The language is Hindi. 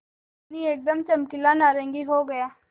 पानी एकदम चमकीला नारंगी हो गया